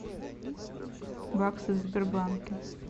баксы в сбербанке